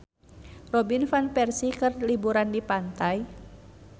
Robin Van Persie keur liburan di pantai